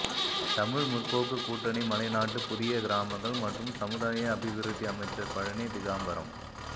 தமிழ் முற்போக்கு கூட்டணி மலைநாட்டு புதிய கிராமங்கள் மற்றும் சமுதாய அபிவிருத்தி அமைச்சர் பழனி திகாம்பரம்